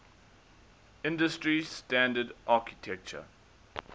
industry standard architecture